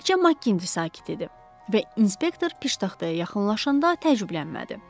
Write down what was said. Təkçə Makti sakit idi və inspektor piştaxtaya yaxınlaşanda təəccüblənmədi.